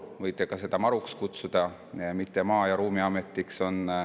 Võite seda ka MaRuks kutsuda, mitte Maa‑ ja Ruumiametiks.